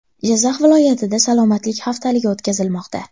Jizzax viloyatida salomatlik haftaligi o‘tkazilmoqda.